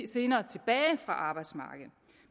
senere tilbage fra arbejdsmarkedet